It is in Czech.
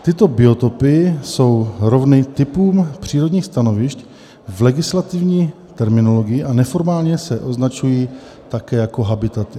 Tyto biotopy jsou rovny typům přírodních stanovišť v legislativní terminologii a neformálně se označují také jako habitaty.